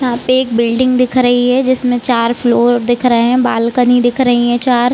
यहाँ पे एक बिल्डिंग दिख रही है जिसमें चार फ्लोर दिख रहे है। बालकनी दिख रही है चार--